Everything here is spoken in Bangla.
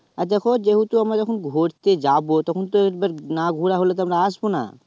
আর দেখো যেহেতু আমরা যখন ঘুরতে যাবো তখন তো একবার না ঘুরা হলে আমরা আসবো না